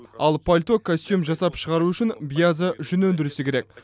ал пальто костюм жасап шығару үшін биязы жүн өндірісі керек